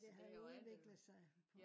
det har jo udviklet sig